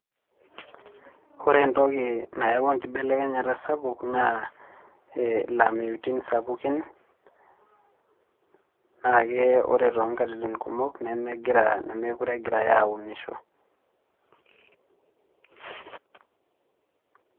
Ore entoki nayaua enkibelekenyata sapuk naa ilameitun sapukin, nake ore tonkatitin kumok nemegira nemekure egirai aunisho.